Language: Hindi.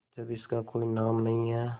जब इसका कोई नाम नहीं है